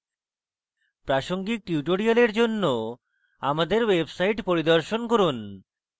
প্রাসঙ্গিক tutorials জন্য আমাদের website পরিদর্শন করুন